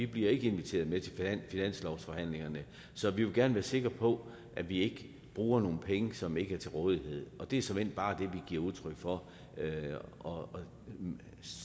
bliver inviteret med til finanslovsforhandlingerne så vi vil gerne være sikre på at vi ikke bruger nogle penge som ikke er til rådighed og det er såmænd bare det vi giver udtryk for og